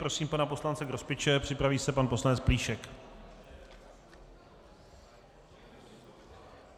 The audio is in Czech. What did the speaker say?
Prosím pana poslance Grospiče, připraví se pan poslanec Plíšek.